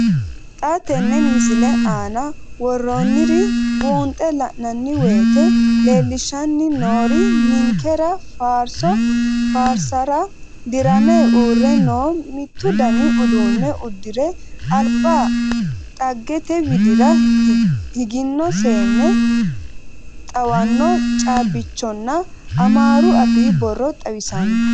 Xa tenne missile aana worroonniri buunxe la'nanni woyiite leellishshanni noori ninkera faarso faarsara dirame uurre noore mittu dani uduunne uddire alba dagate widira higino seenne, xawanno caabbichonna amaaru afii borro xawissanno.